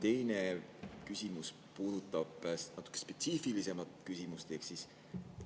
Teine küsimus puudutab natuke spetsiifilisemat.